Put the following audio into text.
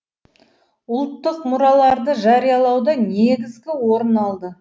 ұлттық мұраларды жариялауда негізгі орын алды